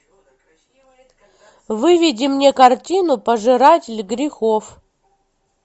выведи мне картину пожиратель грехов